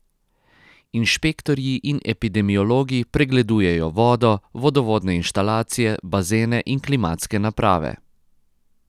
Inšpektorji in epidemiologi pregledujejo vodo, vodovodne inštalacije, bazene in klimatske naprave.